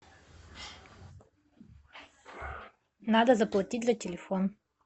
надо заплатить за телефон